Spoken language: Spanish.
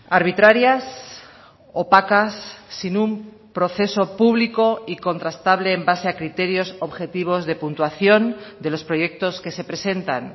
arbitrarias opacas sin un proceso público y contrastable en base a criterios objetivos de puntuación de los proyectos que se presentan